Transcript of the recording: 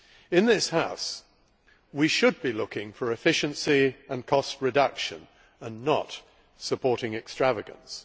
In this House we should be looking for efficiency and cost reductions, and not supporting extravagance.